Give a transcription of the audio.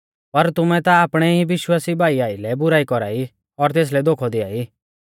पर तुमै ता आपणै ई विश्वासी भाई आइलै बुराई कौरा ई और तेसलै धोखौ दियाई